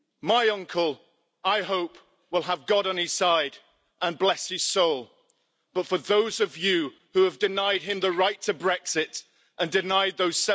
My uncle, I hope, will have God on his side and bless his soul, but for those of you who have denied him the right to Brexit and denied those